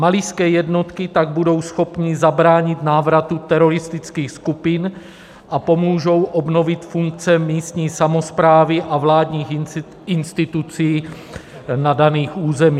Malijské jednotky tak budou schopny zabránit návratu teroristických skupin a pomůžou obnovit funkce místní samosprávy a vládních institucí na daných územích.